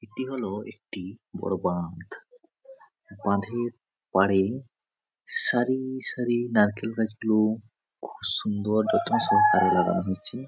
এটি হলো একটি বাড়ি বাঁধ বাঁধের পারেই সারি সারি নারকেল গাছগুলো খুব সুন্দর যত্ন সহকারে লাগানো হয়েছে।